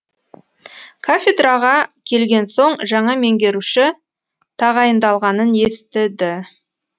кафедраға келген соң жаңа меңгеруші тағайындалғанын естіді